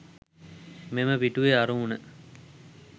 මෙම පිටුවේ අරමුණ